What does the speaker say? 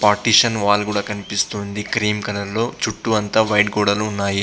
Partition wall కూడా కనిపిస్తుంది cream colour లో చుట్టూ అంతా వైట్ గోడలు ఉన్నాయి.